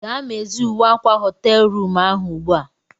Gaa mezie uwe akwa họteelu rụmụ ahụ ugbu a!